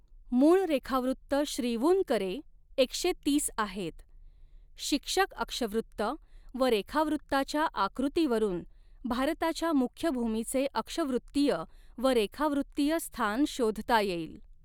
मूळ रेखावृत्त श्रीवून करे एकशे तीस आहेत, शिक्षक अक्षवृत्त व रेखावृत्ताच्या आकृतीवरून भारताच्या मुख्य भूमीचे अक्षवृत्तीय व रेखावृत्तीय स्थान शोधता येईल.